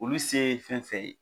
Olu se ye fɛn fɛn ye